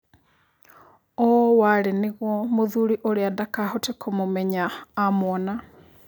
ũũ warĩ nĩguo mũthuri ũrĩa ndakahote kũmũmenya amwona.